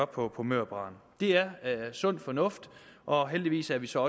på mørbraden det er sund fornuft og heldigvis er vi så